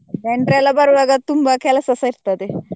ನೆಂಟ್ರೆಲ್ಲ ಬರುವಾಗ ತುಂಬ ಕೆಲಸಸ ಇರ್ತದೆ.